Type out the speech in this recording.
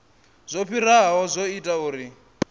zwo fhiraho zwo ita uri